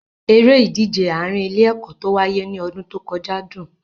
Eré ìdíje àárín ilé-ẹ̀kọ́ tó wáyé ní ọdún tó kọjá dùn.